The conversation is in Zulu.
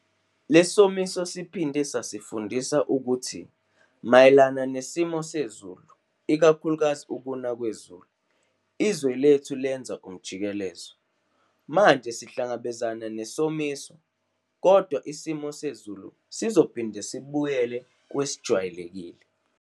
Le somiso siphinde sasifundisa ukuthi mayelana nesimo sezulu ikakhulukazi ukuna kwezulu, izwe lethu lenza umjikelezo. Manje sihlangabezana nesomiso kodwa isimo sezulu sizophinda sibuyele kwesejwayelekile.